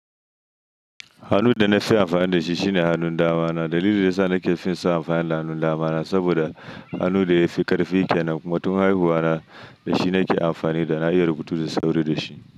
Hannun da na fi amfani da shi shine hannun dama na. Dalilin da ya sa nake fin so amfani da hannun damana saboda hannun da ya fi ƙarfi kenan. Kuma tun haihuwana da shi nake amfani da na iya rubutu da sauri da shi.